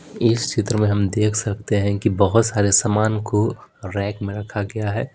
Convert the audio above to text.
इस चित्र में हम देख सकते हैं कि बहुत सारे सामान को रैक में रखा गया है।